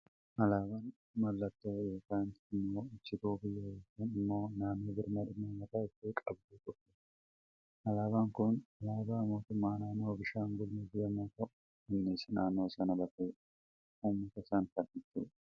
Alaabaan mallattoo yookaan immoo ibsituu biyya yookaan immoo naannoo birmadummaa mataa ishee qabdu tokkooti. Alaabaan Kun, alaabaa mootummaa naannoo Beenishaangulgumuz yemmuu ta'u, innis naannoo sana bakka bu'ee uummata sana kan ibsudha.